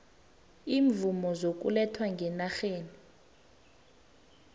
iimvumo zokuletha ngenarheni